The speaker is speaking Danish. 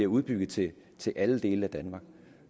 udbygge det til alle dele af danmark